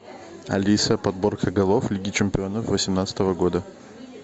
алиса подборка голов лиги чемпионов восемнадцатого года